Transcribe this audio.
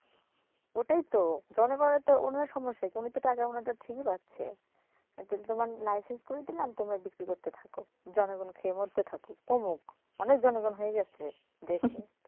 ওটাই তো জনগণের তো উনার সমস্যা কি উনিতো টাকা উনারটা ঠিকই পাচ্ছে এতে তোমার license করিয়ে দিলাম তোমরা বিক্রি করতে থাকো জনগণ খেয়ে মরতে থাকুক কমুক অনেক জনগণ হয়ে গেছে দেশে